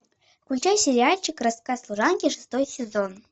включай сериальчик рассказ служанки шестой сезон